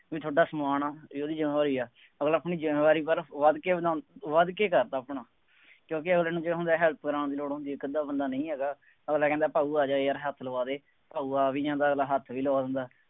ਬਈ ਤੁਹਾਡਾ ਸਮਾਨ ਹੈ, ਉਹਦੀ ਜ਼ਿੰਮੇਵਾਰੀ ਹੈ, ਅਗਲਾ ਆਪਣੀ ਜ਼ਿੰਮੇਵਾਰੀ ਪਰ ਵੱਧ ਕੇ ਵਧਾਉਂਦਾ ਵੱਧ ਕੇ ਕਰਦਾ ਆਪਣਾ, ਕਿਉਕਿ ਅਗਲੇ ਨੂੰ ਕਿਉਂ ਹੁੰਦਾ help ਕਰਾਉਣ ਦੀ ਲੋੜ ਹੁੰਦੀ ਹੈ, ਇੱਕ ਅੱਧਾ ਬੰਦਾ ਨਹੀਂ ਹੈਗਾ, ਅਗਲਾ ਕਹਿੰਦਾ ਭਾਊ ਆ ਜਾ ਯਾਰ ਹੱਥ ਲਵਾ ਦੇ, ਭਾਊ ਆ ਵੀ ਜਾਂਦਾ ਅਗਲਾ ਹੱਥ ਵੀ ਲਵਾ ਦਿੰਦਾ।